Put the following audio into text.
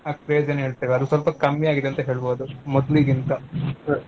craze ಅದ ಸ್ವಲ್ಪ ಕಮ್ಮಿ ಆಗಿದೆ ಅಂತ ಹೇಳ್ಬೋದು ಮೊದ್ಲಿಗಿಂತ.